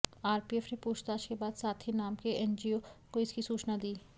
RPF ने पूछताछ के बाद साथी नाम के एनजीओ को इसकी सूचना दी